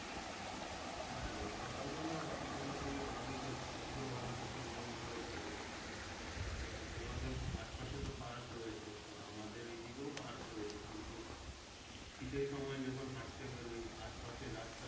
হ্যাঁ সকাল বেলা হাঁটা চলা করলে ভালোই থাকে শরীর ও ভালো থাকে মন ও ভালো থাকে তা তোমাদের আশপাশে তো park রয়েছে তো আমাদের এইদিকেও park রয়েছে কিন্তু শীতের সময় যখন হাঁটতে বেরোই আশপাশের রাস্তা